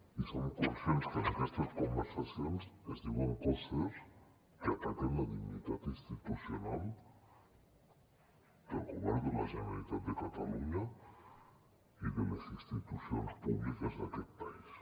i som conscients que en aquestes conversacions es diuen coses que ataquen la dignitat institucional del govern de la generalitat de catalunya i de les institucions públiques d’aquest país